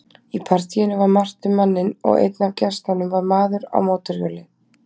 Í partíinu var margt um manninn og einn af gestunum var maður á mótorhjóli.